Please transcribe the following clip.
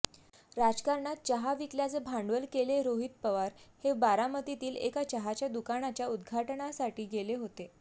राजकारणात चहा विकल्याचं भांडवल केलेरोहित पवार हे बारामतीतील एका चहाच्या दुकानाच्या उद्घाटनासाठी गेले होते